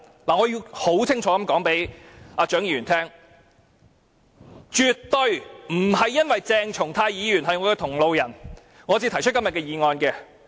我要清楚告訴蔣議員，絕對不是因為鄭松泰議員是我的同路人，我才提出今天這議案。